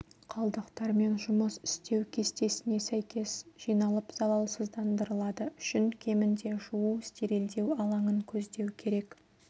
қалдықтармен жұмыс істеу кестесіне сәйкес жиналып залалсыздандырылады үшін кемінде жуу-стерилдеу алаңын көздеу керек